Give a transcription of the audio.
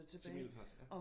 Til Middelfart? Ja